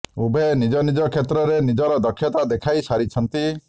ଉଭୟ ନିଜ ନିଜ କ୍ଷେତ୍ରରେ ନିଜର ଦକ୍ଷତା ଦେଖାଇ ସାରିଛନ୍ତି